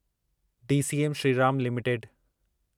DCM Shriram limited